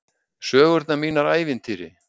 Sögurnar mínar ævintýri.